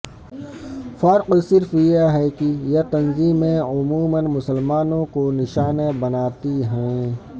فرق صرف یہ ہے کہ یہ تنطیمیں عموما مسلمانوں کو نشانہ بنا تی ہیں